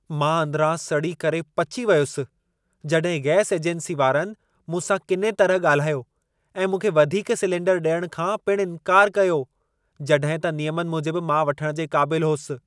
मां अंदरां सड़ी करे पची वयुसि जड॒हि गैस एजेंसी वारनि मूं सां किने तरह ॻाल्हायो ऐं मूंखे वधीक सिलेंडर डि॒यणु खां पिण इंकार कयो जड॒हिं त नियमनि मूजिबि मां वठणु जे क़ाबिलु होसि।